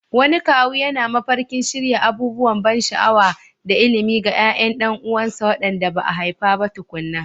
Wani kawu yana mafarkin shirya abubuwan ban sha'awa da ilimi ga ƴaƴan ƴan uwansa waɗanda ba a haifa ba tukuna.